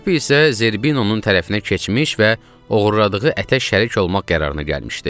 Kapi isə Zerbinonun tərəfinə keçmiş və oğurladığı ətə şərik olmaq qərarına gəlmişdi.